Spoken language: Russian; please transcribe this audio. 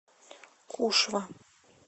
кушва